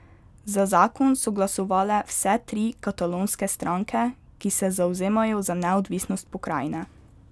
Za zakon so glasovale vse tri katalonske stranke, ki se zavzemajo za neodvisnost pokrajine.